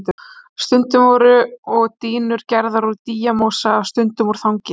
Stundum voru og dýnur gerðar úr dýjamosa, stundum úr þangi.